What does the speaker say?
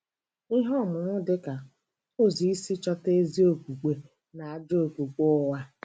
Ihe ọmụmụ dịka "ụzọ isi chọta ezi okpukpe" na- ajụ Okpukpe ụgha.